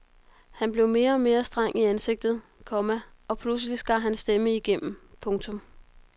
Han blev mere og mere streng i ansigtet, komma og pludselig skar hans stemme igennem. punktum